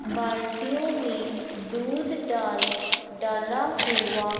बाल्टीयो में दूध डाल डाला हुआ--